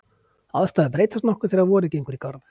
Aðstæður breytast nokkuð þegar vorið gengur í garð.